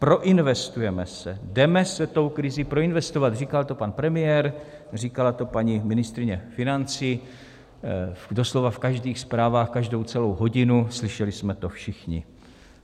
Proinvestujeme se, jdeme se tou krizí proinvestovat - říkal to pan premiér, říkala to paní ministryně financí doslova v každých zprávách každou celou hodinu, slyšeli jsme to všichni.